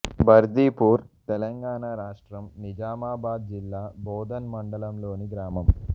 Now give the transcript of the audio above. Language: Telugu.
బర్దిపూర్ తెలంగాణ రాష్ట్రం నిజామాబాద్ జిల్లా బోధన్ మండలంలోని గ్రామం